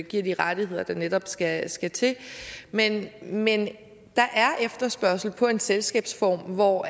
giver de rettigheder der netop skal skal til men men der er efterspørgsel på en selskabsform hvor